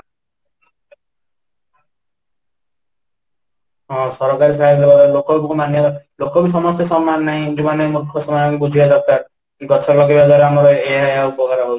ହଁ ,ସରକାରୀ ମାନେ ଲୋକ ବି ସମସ୍ତେ ସମାନ ନାହିଁ ଯୋଉ ମାନେ ମୁର୍ଖ ସେଇମାନେ ବୁଝିବା ଦରକାର କି ଗଛ ଲଗେଇବା ଦ୍ୱାରା ଆମର ଏୟା ଏୟା ଉପକାର ହଉଛି